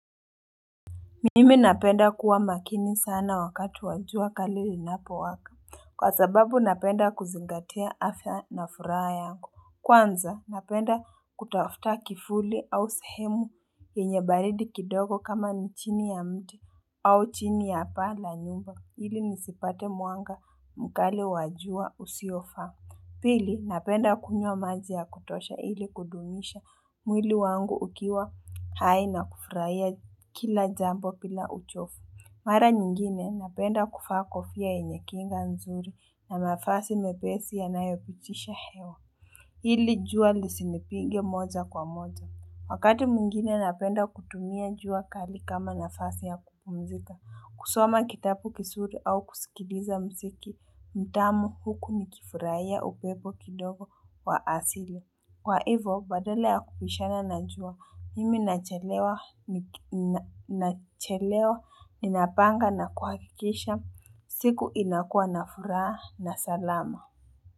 Mimi napenda kuwa makini sana wakati wa jua kali linapo waka. Kwa sababu napenda kuzingati afya na furaha yangu. Kwanza napenda kutafuta kivuli au sehemu penye balidi kidogo kama nchini ya mti au chini ya paa la nyumba ili nisipate mwanga mkali wajua usiofa. Pili, napenda kunywq maji ya kutosha ili kudumisha mwili wangu ukiwa haina kufuraya kila jambo bila uchofu. Mara nyingine, napenda kufakofia inyekinga mzuri na mafasi mepesi ya nayopitisha hewa. Ili, jua lisini pige moja kwa moja. Wakati mungine, napenda kutumia jua kali kama nafasi ya kupumzita. Kusoma kitabu kizuri au kusikiliza msiki, mtamu huku mikifuraya upebo kidogo wa asili. Kwa hivo, badala ya kupishana najua, mimi nachelewa, ninapanga na kuhakikisha, siku inakua na furaha na salama.